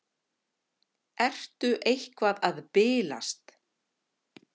Ertu eitthvað að bilast?